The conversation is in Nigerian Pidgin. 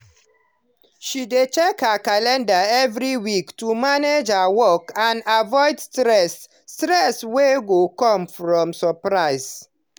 she dey check her calendar every week to manage her work and avoid stress stress wey go come from surprise.